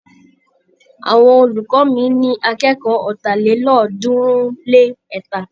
Àwọn olùkọ́ mi ní akẹ́kọ̀ọ́ ọ̀tàlélọ́ọ̀ọ́dúnrún-lé-ẹ̀ta.